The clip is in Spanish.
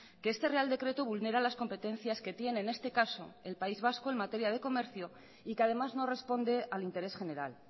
que este real decreto vulnera las competencias que tiene en este caso el país vasco en materia de comercio y que además no responde al interés general